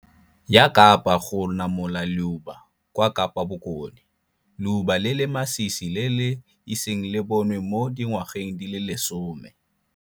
Ya Kapa go namola leuba kwa Kapa Bokone, leuba le le masisi le le iseng le bonwe mo dingwageng di le lesome.